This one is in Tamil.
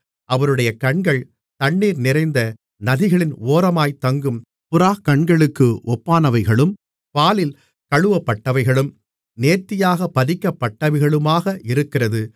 அவருடைய கண்கள் தண்ணீர் நிறைந்த நதிகளின் ஓரமாகத் தங்கும் புறாக்கண்களுக்கு ஒப்பானவைகளும் பாலில் கழுவப்பட்டவைகளும் நேர்த்தியாகப் பதிக்கப்பட்டவைகளுமாக இருக்கிறது